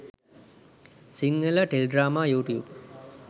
sinhala teledrama youtube